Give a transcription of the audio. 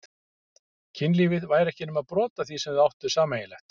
Kynlífið væri ekki nema brot af því sem þau ættu sameiginlegt.